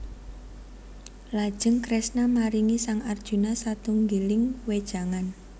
Lajeng Kresna maringi sang Arjuna satunggiling wejangan